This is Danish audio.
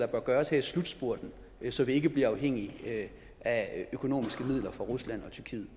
bør gøres her i slutspurten så vi ikke bliver afhængige af økonomiske midler fra rusland